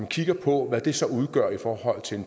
kigger på hvad det så udgør i forhold til